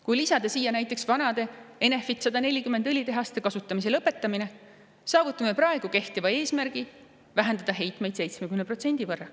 Kui lisada siia näiteks vanade, Enefit 140 õlitehaste kasutamise lõpetamine, saavutame praegu kehtiva eesmärgi vähendada heitmeid 70% võrra.